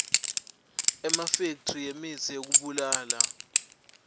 emafekthri emitsi yekubulala